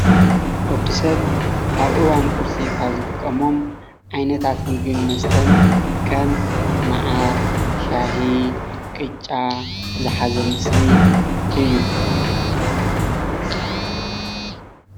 ወዲ ሰብ ኣብ እዋን ቁርሲ ካብ ዝጥቀሞም ዓይነታት ምግብን መስተን ከም ማዓር፣ ሻሂ፣ ቅጫ ዝሓዘ ምስሊ እዩ፡፡